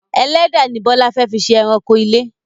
Ẹlẹ́dẹ̀ ni Bọlá fẹ fí ṣe ẹranko ilé